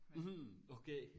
Mhm okay